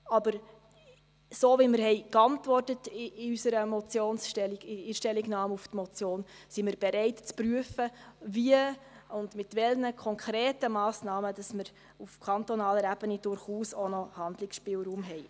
Aber so, wie wir in unserer Stellungnahme auf die Motion geantwortet haben, sind wir bereit zu prüfen, wie und mit welchen konkreten Massnahmen wir auf kantonaler Ebene durchaus auch noch Handlungsspielraum haben.